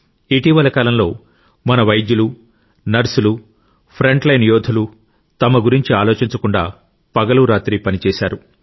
ఇటీవలి కాలంలో మన వైద్యులు నర్సులు ఫ్రంట్ లైన్ యోధులు తమ గురించి ఆలోచించకుండా పగలు రాత్రి పనిచేశారు